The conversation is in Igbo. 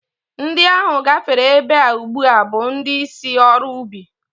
Ndị ahụ gafere ebe a ugbu a bụ ndị si ọrụ ubi